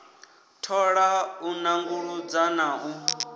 thola u nanguludza na u